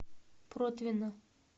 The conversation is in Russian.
протвино